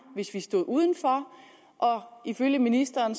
hvis vi stod uden for og ifølge ministeren